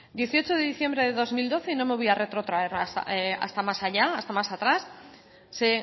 dieciocho de diciembre de dos mil doce y no me voy a retrotraer hasta más allá hasta más atrás se